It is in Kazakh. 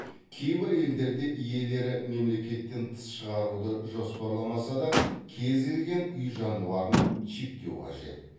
кейбір елдерде иелері мемлекеттен тыс шығаруды жоспарламаса да кез келген үй жануарын чиптеу қажет